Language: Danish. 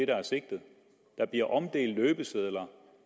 der er sigtet der bliver omdelt løbesedler